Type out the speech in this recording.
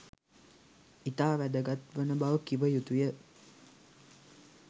ඉතා වැගත්වන බව කිව යුතු ය.